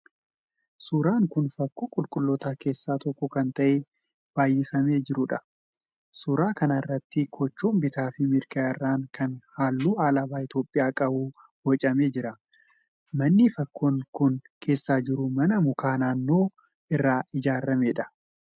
Suuraan kun fakkoo qulqullootaa keessaa tokko ta'ee kan baayyifamee jiruudha. Suuraa kana irratti kochoon bitaa fi mirga irraan kan halluu alaabaa Itiyoopiyaa qabu boocamee jira. Manni fakkoon kun keessa jiru mana muka naannoo irraa ijaarameedha.